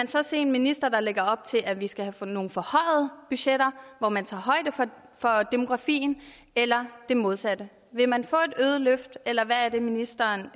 se en minister der lægger op til at vi skal have nogle forhøjede budgetter hvor man tager højde for demografien eller det modsatte vil man få et øget løft eller hvad er det ministeren